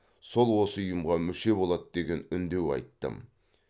сол осы ұйымға мүше болады деген үндеу айттым